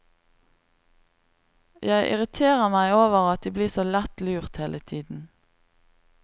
Jeg irriterer meg over at de blir så lett lurt hele tiden.